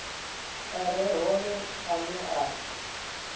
a re hone ane a